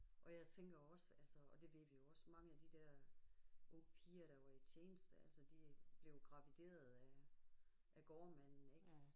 Og jeg tænker også altså og det ved vi jo også mange af de der unge piger der var i tjeneste altså de blev jo gravideret af af gårdmanden ik